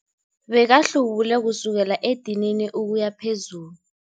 Bekahlubule kusukela edinini ukuya phezulu.